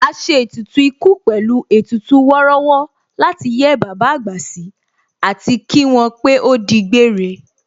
A ṣe ètùtù ikú pẹ̀lú ètùtù wọ́rọ́wọ́ láti yẹ́ bàbá àgbà sí àti kí wọ́n pé ó di gbére